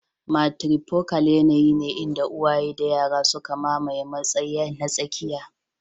Matrifocal yanayi ne inda uwaye da yara suka mamaye matsayi na tsakiya.